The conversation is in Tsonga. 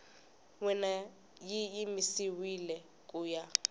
wena yi yimisiwile ku ya